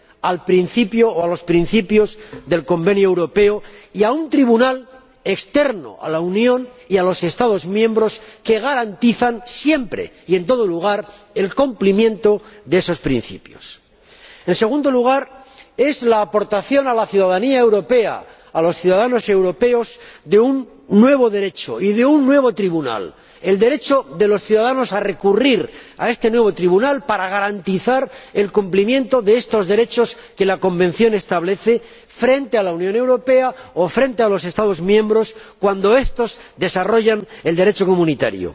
a los principios del Convenio Europeo y a un tribunal externo a la Unión y a los Estados miembros que garantiza, siempre y en todo lugar, el cumplimiento de esos principios. En segundo lugar, la aportación a la ciudadanía europea, a los ciudadanos europeos, de un nuevo derecho y de un nuevo tribunal el derecho de los ciudadanos a recurrir a este nuevo tribunal para garantizar el cumplimiento de los derechos que el Convenio establece frente a la Unión Europea o frente a los Estados miembros cuando estos desarrollan el Derecho comunitario.